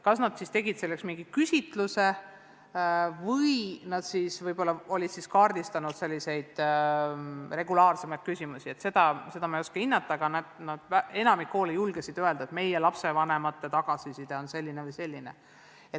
Kas nad tegid selleks mingisuguse küsitluse või kaardistasid regulaarsemaid küsimusi, seda ei oska ma hinnata, aga enamik koole julges öelda, et meie lapsevanemate tagasiside on olnud selline või selline.